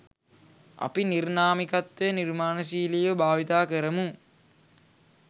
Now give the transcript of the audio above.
අපි නිර්නාමිකත්වය නිර්මාණශීලීව භාවිතා කරමු.